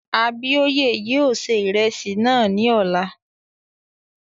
Abíóyè yóò ṣe ìrẹsì náà ní òní